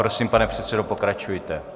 Prosím, pane předsedo, pokračujte.